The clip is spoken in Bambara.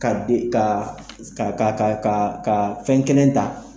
Ka e ka ka ka fɛn kelen ta